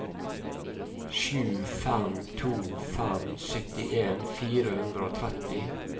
sju fem to fem syttien fire hundre og tretti